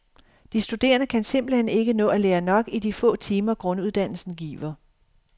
De studerende kan simpelt hen ikke nå at lære nok i de få timer, grunduddannelsen giver.